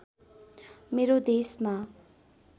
मेरो देशमा